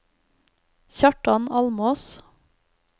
Kjartan Almås